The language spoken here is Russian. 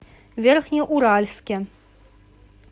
верхнеуральске